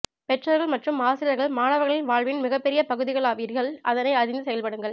பெற்றோர்கள் மற்றும் ஆசிரியர்கள் மாணவர்களின் வாழ்வின் மிகப்பெரிய பகுதிகளாவீர்கள் அதனை அறிந்து செயல்படுங்கள்